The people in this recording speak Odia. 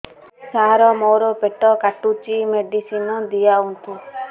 ସାର ମୋର ପେଟ କାଟୁଚି ମେଡିସିନ ଦିଆଉନ୍ତୁ